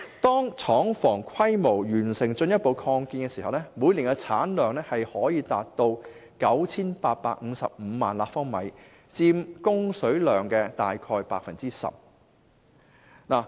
當廠房規模完成進一步擴建時，每年產量可達 9,855 萬立方米，約佔供水量 10%。